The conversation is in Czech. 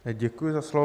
Děkuji za slovo.